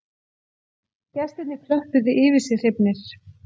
Gestirnir klöppuðu yfir sig hrifnir